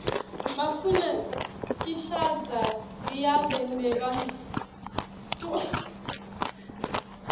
bafuna kishadza biabe nebantfuana